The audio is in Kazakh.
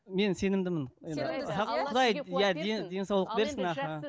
мен сенімдімін денсаулық берсін аха